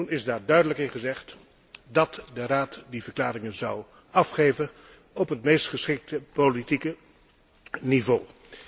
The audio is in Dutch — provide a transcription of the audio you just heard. Daar is toen duidelijk in gezegd dat de Raad die verklaringen zou afgeven op het meest geschikte politieke niveau.